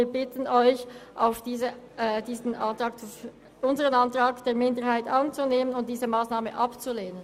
Wir bitten Sie, unseren Minderheitsantrag anzunehmen und diese Massnahme abzulehnen.